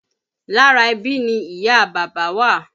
Lára ẹbí ni ìyá a bàbá wà